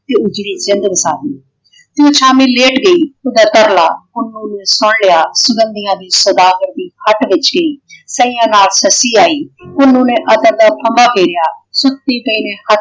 ਤੇ ਉਜੜੀ ਜਿੰਦ ਵਸਾਹੀ। ਤੇ ਉਹ ਛਾਵੇਂ ਲੇਟ ਗਈ ਓਹਦਾ ਤਰਲਾ ਪੁੰਨੂੰ ਨੇ ਸੁਣ ਲਿਆ। ਸੁੰਗੰਦੀਆਂ ਦੇ ਸੌਦਾਗਰ ਦੀ ਹੱਟ ਵਿੱਛ ਗਈ। ਕਈਆਂ ਨਾਲ ਸੱਸੀ ਆਈ ਪੁੰਨੂੰ ਨੇ ਗੇਰਿਆ ਸੁੱਤੀ ਪਈ ਨੇ